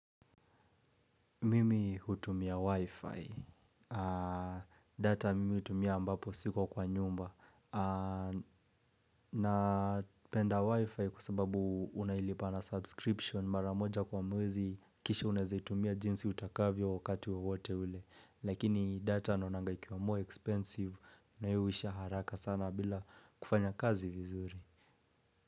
Mimi hutumia wifi. Data mimi utumia ambapo siko kwa nyumba. Napenda wifi kwa sababu unailipa na subscription mara moja kwa mwezi kisha unaeze utumia jinsi utakavyo wakati wowote ule. Lakini data naonanga ikiwa more expensive na nayo huisha haraka sana bila kufanya kazi vizuri.